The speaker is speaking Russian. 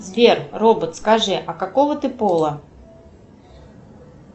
сбер робот скажи а какого ты пола